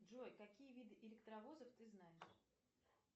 джой какие виды электровозов ты знаешь